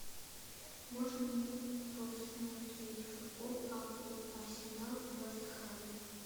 можно мне просмотреть футбол апл арсенал вест хэм